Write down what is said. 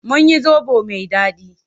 Mun yi zoɓo mai daɗi.